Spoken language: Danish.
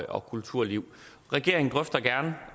og kulturliv regeringen drøfter gerne